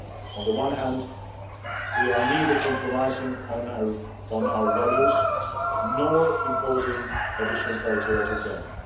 On the one hand, we are neither compromising on our values nor imposing additional criteria on Ukraine.